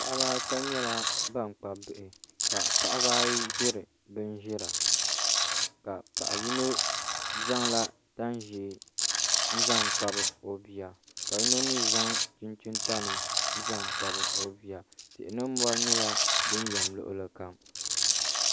Paɣaba ata nyɛla ban kpabi bihi ka paɣaba ayi ʒiri bin ʒira. Ka paɣa yino zaŋla tani ʒiɛ n zaŋ kpabi o bia ka yino mii zaŋ chinchin tani n zaŋ kpabi o bia tihi ni mori nyɛla din yɛm luɣuli kam